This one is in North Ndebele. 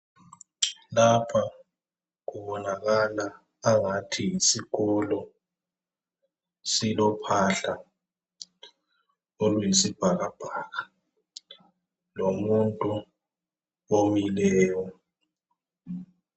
Lapha kubonakala angathi yisikolo. Silophahla oluyisibhakabhaka lomuntu omileyo.